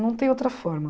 Não tem outra forma.